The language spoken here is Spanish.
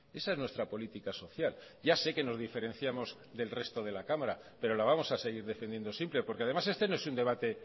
esa es nuestra política social ya sé que nos diferenciamos del resto de la cámara pero la vamos a seguir defendiendo siempre porque además este no es un debate